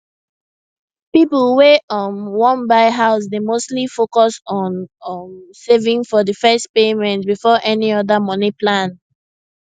people wey um wan buy house dey mostly focus on um saving for the first payment before any other money plan